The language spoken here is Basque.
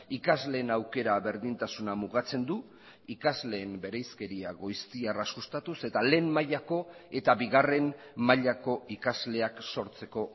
ikasleen aukera berdintasuna mugatzen du ikasleen bereizkeria goiztiarra sustatuz eta lehen mailako eta bigarren mailako ikasleak sortzeko